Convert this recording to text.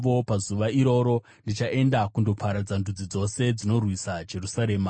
Pazuva iroro ndichaenda kundoparadza ndudzi dzose dzinorwisa Jerusarema.